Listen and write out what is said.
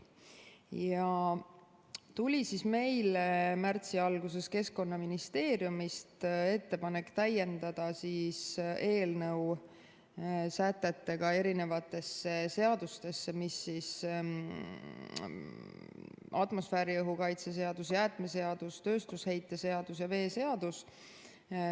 Märtsi alguses tuli meile Keskkonnaministeeriumist ettepanek täiendada eelnõu sätetega erinevaid seadusi: atmosfääriõhu kaitse seadust, jäätmeseadust, tööstusheite seadust ja veeseadust.